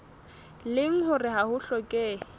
leng hore ha ho hlokehe